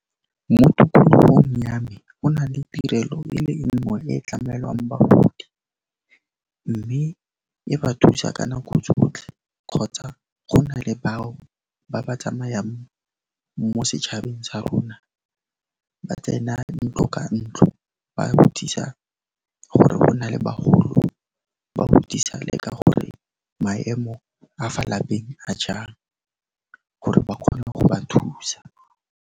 Mo tikologong ya me go na le tirelo e le nngwe e tlamelwang bagodi, mme e ba thusa ka nako tsotlhe kgotsa go na le bao ba ba tsamayang mo setšhabeng sa rona, ba tsena ntlo ka ntlo ba botsisa gore go na le bagolo, ba botsisa le ka gore maemo a fa lapeng a jang gore ba kgone go ba thusa.